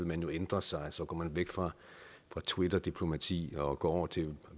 man jo ændre sig så går man væk fra twitterdiplomati og går over til at